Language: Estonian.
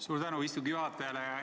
Suur tänu istungi juhatajale!